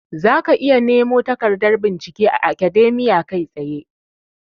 Zaka iya nemo takardar bincike a Akademiya kai tsaye.